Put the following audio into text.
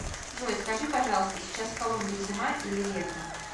джой скажи пожалуйста сейчас в колумбии зима или лето